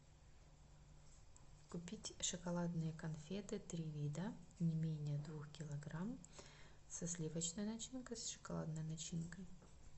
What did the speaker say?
купить шоколадные конфеты три вида не менее двух килограмм со сливочной начинкой с шоколадной начинкой